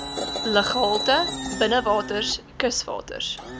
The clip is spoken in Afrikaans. luggehalte binnewaters kuswaters